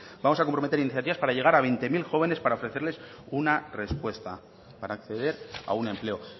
vamos a comprometer iniciativas para llegar a veinte mil jóvenes para ofrecerles una respuesta para acceder a un empleo